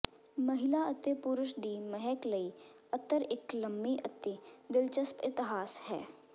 ਮਹਿਲਾ ਅਤੇ ਪੁਰਸ਼ ਦੀ ਮਹਿਕ ਲਈ ਅਤਰ ਇੱਕ ਲੰਮੀ ਅਤੇ ਦਿਲਚਸਪ ਇਤਿਹਾਸ ਹੈ